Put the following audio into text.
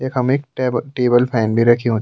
यखम एक tab table fan भी रखूं।